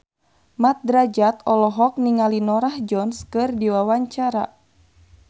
Mat Drajat olohok ningali Norah Jones keur diwawancara